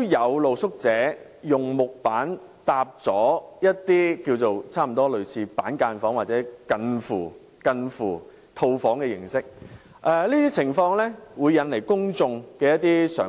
有露宿者以木板搭建了一些類似板間房或近乎套房形式的木屋，而這些情況會令公眾人士有一些想法。